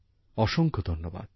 অসংখ্য ধন্যবাদ